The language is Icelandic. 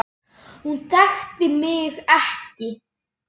Hún þekkti mig ekki.